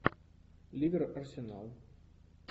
ливер арсенал